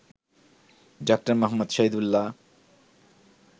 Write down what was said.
Dr Muhammad Shahidullah